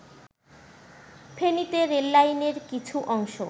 ফেনীতে রেললাইনের কিছু অংশ